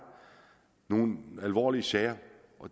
nogle alvorlige sager